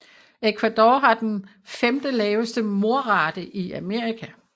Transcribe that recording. Ecuador har den femte laveste mordrate i Amerika